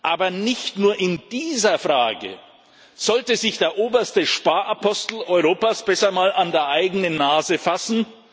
Aber nicht nur in dieser Frage sollte sich der oberste Sparapostel Europas besser mal an die eigene Nase fassen.